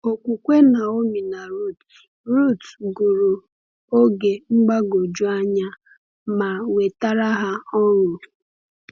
Okwukwe Naomi na Ruth Ruth gụrụ oge mgbagwoju anya ma wetara ha ọṅụ.